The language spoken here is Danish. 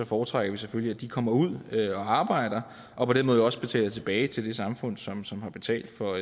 foretrækker vi selvfølgelig at de kommer ud og arbejder og på den måde også betaler tilbage til det samfund som som har betalt for